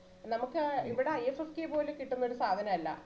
നമ്മക്ക് ഇവിടാ IFFK പോലെ കിട്ടുന്നൊരു സാധനല്ല